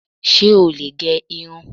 Ṣé ò lè gẹ irun?